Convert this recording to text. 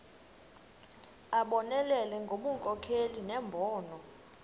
abonelele ngobunkokheli nembono